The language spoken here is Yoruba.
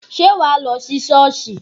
Ṣé wàá lọ sí Șọ́ọ̀sì?